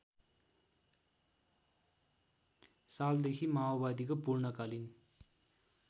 सालदेखि माओवादीको पूर्णकालीन